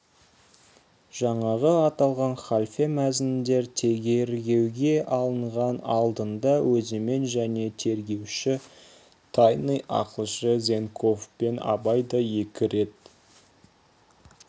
жаңағы аталған халфе мәзіндер тергеуге алынар алдында өзімен және тергеуші тайный ақылшы зенковпен абай да екі рет